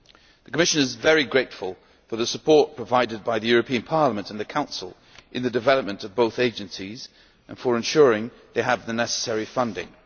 The Commission is very grateful for the support provided by the European Parliament and the Council in the development of both agencies and for ensuring they have the necessary funding.